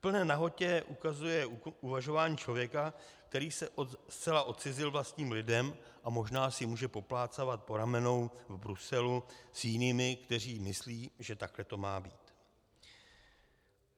V plné nahotě ukazuje uvažování člověka, který se zcela odcizil vlastním lidem a možná si může poplácávat po ramenou v Bruselu s jinými, kteří myslí, že takhle to má být.